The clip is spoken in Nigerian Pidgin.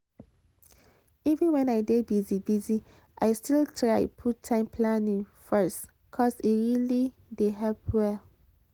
even when i dey busy busy i still try put time planning first cos e really dey help well.